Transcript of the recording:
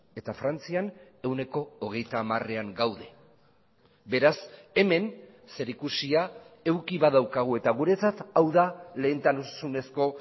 eta frantzian ehuneko hogeita hamarean gaude beraz hemen zerikusia eduki badaukagu eta guretzat hau da lehentasunezko